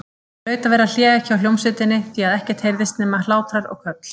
Það hlaut að vera hlé hjá hljómsveitinni því að ekkert heyrðist nema hlátrar og köll.